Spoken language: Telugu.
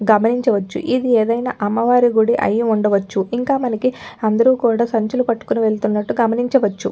గమనించవచ్చుఇది ఏదైనా అమ్మవారి గుడి అయ్యుండచ్చుఇంకా మనకి అందరుకూడా సంచులు పట్టుకుని వెళ్తున్నట్లు గమనించవచ్చు.